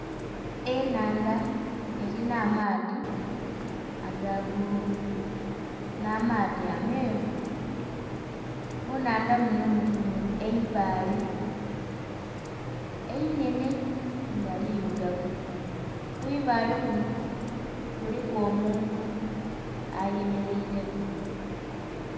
Ennhandha elina amaadhi aga bbululu nh'amaadhi ameeru. Mu nnhandha munho mulimu eibaale einhenhe nga lirugavu. Ku ibaale kuno kuliku omuntu ayemeleireku.